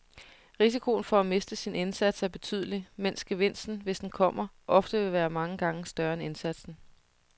Risikoen for at miste sin indsats er betydelig, mens gevinsten, hvis den kommer, ofte vil være mange gange større end indsatsen.